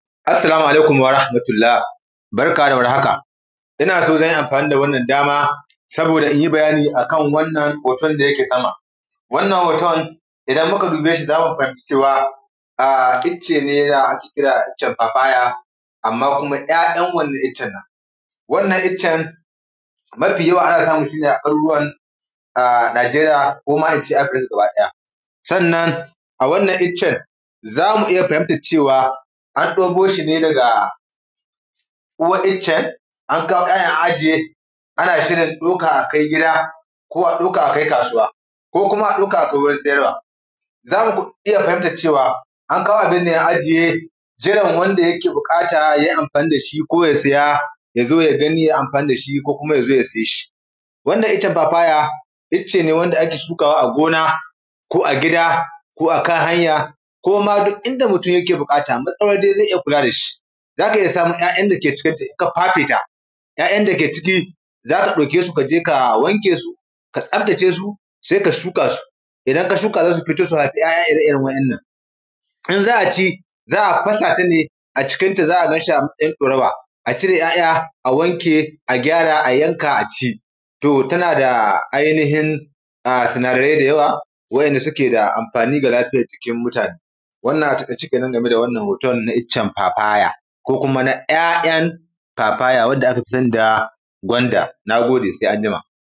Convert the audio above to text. assalamu alikum barka da war haka innson zanyi amfani da wannan dama saboda inyi baya ni akan wannan hoton da yake sama wannan hoton idan muka dubeshi zamu fahimci cewa wato wannan ice ne wanda ake kira caf abaya amma kuma ya yan wannan ice wannan iccen mafi yawa ana samun shine a garuruwan nigeriya koma ince afiriƙka gaba daya sannan a wannan iccen zamu iya an deboshi ne daga uwan iccen an kawo ya yan an ajiye ana shin dauka akai gida ko kuam akai kasuwa ko kuma a dauka akai wurin sayarwa zamu iyya fahintar cewa ankawo ananne an ajiye jiran wanda ya bukata yayi amfani da shi koya siya yazo ya gani yayi amfani dashi koya siyeshi wannan iccen babaya ice ne wanda ake shukawa a gona ko a gida ko a kan hanya koma duk inda mutun yake bukata katsawan dai zai kula dashi zaka iyya samun ya yan dake ciki ka fafe ta ya yan dake ciki kajeƙ ka wanke su ka tsafta ce su sai ka shuka su idan ka shuka su haifi ya yaƙ irren wayan nan in za’aci za’a fasata ne a cikin ta za’a dan sami yaddorawa a wanke a gyara a dafa aci domin tana da ainihin suna darai da yawa wanda suke da amfani ga lafiyan jiki wannan a taka ice kenan game da wannan hoton na iccen babaya ko kuma ya yan iccen babaya wanda akafi sani da gwanda nagode sai anjima